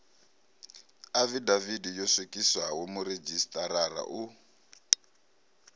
afidavithi yo swikiswaho muredzhisitarara u